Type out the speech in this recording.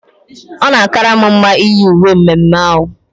Ọ na akara m mma iyi uwe mme mme ahụ